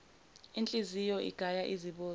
inhliziyo igaya izibozi